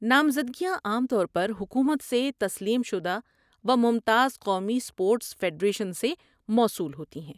نامزدگیاں عام طور پر حکومت سے تسلیم شدہ و ممتاز قومی اسپورٹس فیڈریشنز سے موصول ہوتی ہیں۔